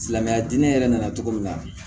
Silamɛya diinɛ yɛrɛ nana cogo min na